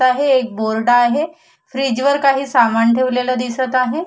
त आहे एक बोर्ड आहे फ्रीज वर काही सामान ठेवलेल दिसत आहे.